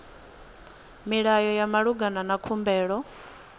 milayo ya malugana na khumbelo